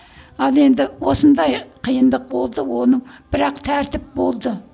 ал енді осындай қиындық болды оның бірақ тәртіп болды